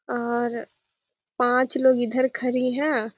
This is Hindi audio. और पाँच लोग इधर खड़ी है।